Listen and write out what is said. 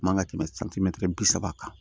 Man ka tɛmɛ santimɛtiri bi saba kan